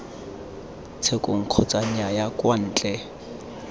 tshekong kgotsa nnyaya kwa ntle